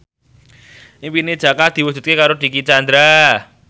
impine Jaka diwujudke karo Dicky Chandra